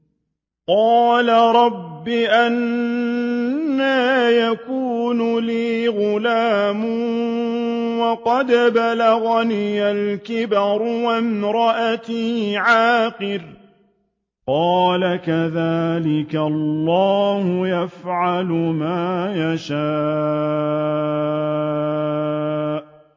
قَالَ رَبِّ أَنَّىٰ يَكُونُ لِي غُلَامٌ وَقَدْ بَلَغَنِيَ الْكِبَرُ وَامْرَأَتِي عَاقِرٌ ۖ قَالَ كَذَٰلِكَ اللَّهُ يَفْعَلُ مَا يَشَاءُ